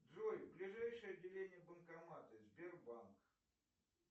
джой ближайшее отделение банкоматы сбербанк